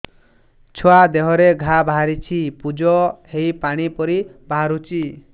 ଛୁଆ ଦେହରେ ଘା ବାହାରିଛି ପୁଜ ହେଇ ପାଣି ପରି ବାହାରୁଚି